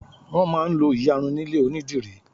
wón má n lo iyarun nílé onidiri